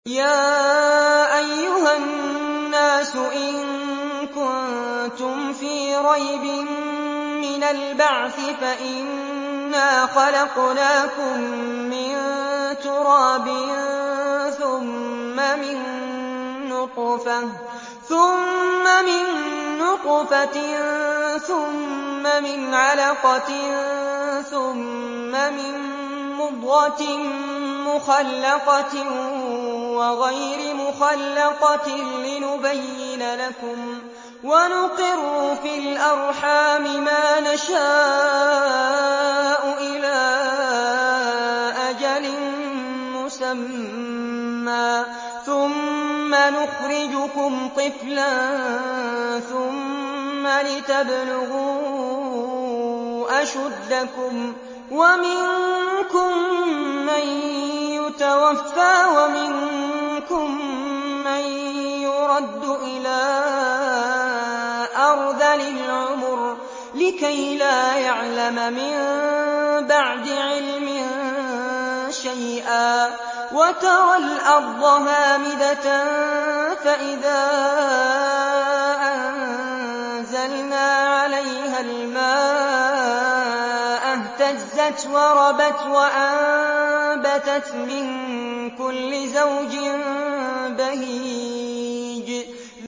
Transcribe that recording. يَا أَيُّهَا النَّاسُ إِن كُنتُمْ فِي رَيْبٍ مِّنَ الْبَعْثِ فَإِنَّا خَلَقْنَاكُم مِّن تُرَابٍ ثُمَّ مِن نُّطْفَةٍ ثُمَّ مِنْ عَلَقَةٍ ثُمَّ مِن مُّضْغَةٍ مُّخَلَّقَةٍ وَغَيْرِ مُخَلَّقَةٍ لِّنُبَيِّنَ لَكُمْ ۚ وَنُقِرُّ فِي الْأَرْحَامِ مَا نَشَاءُ إِلَىٰ أَجَلٍ مُّسَمًّى ثُمَّ نُخْرِجُكُمْ طِفْلًا ثُمَّ لِتَبْلُغُوا أَشُدَّكُمْ ۖ وَمِنكُم مَّن يُتَوَفَّىٰ وَمِنكُم مَّن يُرَدُّ إِلَىٰ أَرْذَلِ الْعُمُرِ لِكَيْلَا يَعْلَمَ مِن بَعْدِ عِلْمٍ شَيْئًا ۚ وَتَرَى الْأَرْضَ هَامِدَةً فَإِذَا أَنزَلْنَا عَلَيْهَا الْمَاءَ اهْتَزَّتْ وَرَبَتْ وَأَنبَتَتْ مِن كُلِّ زَوْجٍ بَهِيجٍ